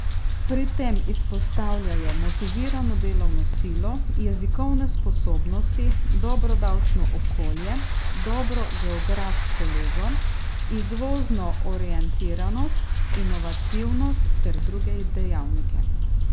Pri tem izpostavljajo motivirano delovno silo, jezikovne sposobnosti, dobro davčno okolje, dobro geografsko lego, izvozno orientiranost, inovativnost ter druge dejavnike.